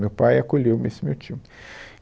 Meu pai acolheu esse meu tio.